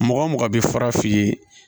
Mɔgɔ mɔgɔ bɛ fara f'i ye